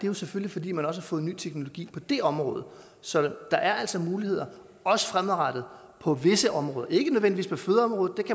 jo selvfølgelig fordi man også har fået ny teknologi på det område så der er altså muligheder også fremadrettet på visse områder ikke nødvendigvis på fødeområdet